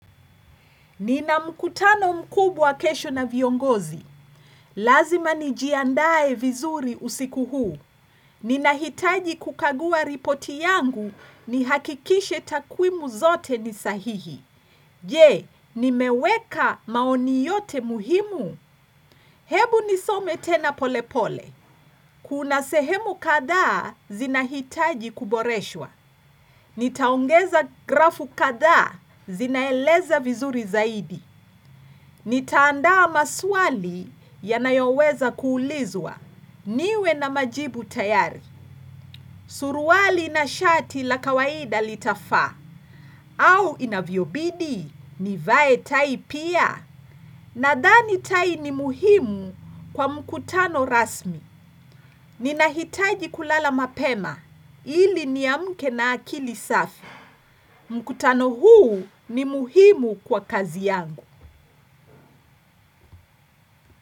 Ninamkutano mkubwa kesho na viongozi. Lazima nijiandae vizuri usiku huu. Ninahitaji kukagua ripoti yangu ni hakikishe takwimu zote ni sahihi. Je, nimeweka maoni yote muhimu. Hebu nisome tena polepole. Kuna sehemu kadhaa zinahitaji kuboreshwa. Nitaongeza grafu kadhaa zinaeleza vizuri zaidi. Nitaandaa maswali yanayoweza kuulizwa. Niwe na majibu tayari. Suruali na shati la kawaida litafaa. Au inavyobidi, nivae tai pia. Nadhani tai ni muhimu kwa mkutano rasmi. Ninahitaji kulala mapema. Ili niamke na akili safi, mkutano huu ni muhimu kwa kazi yangu.